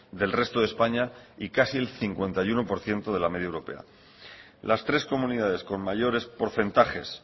del resto de españa y casi el cincuenta y uno por ciento de la media europea las tres comunidades con mayores porcentajes